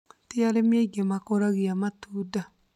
Ti arĩmi aingĩ makũraga matunda